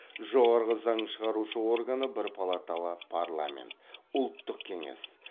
жоғарғы заң шығарушы органы бір палаталы парламент ұлттық кеңес